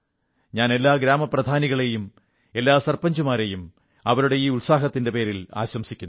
ഞാൻ എല്ലാ ഗ്രാമപ്രധാനികളെയും എല്ലാ ഗ്രാമമുഖ്യന്മാരെയും അവരുടെ ഈ ഉത്സാഹത്തിന്റെ പേരിൽ ആശംസിക്കുന്നു